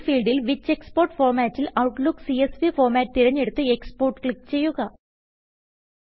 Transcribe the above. ഈ ഫീൽഡിൽ which export formatൽ ഔട്ട്ലുക്ക് സിഎസ്വി ഫോർമാറ്റ് തിരഞ്ഞെടുത്ത് എക്സ്പോർട്ട് ക്ലിക്ക് ചെയ്യുക